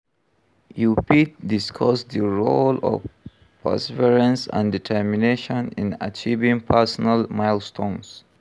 You fit discuss di role of perseverance and determination in achieving personal milestones.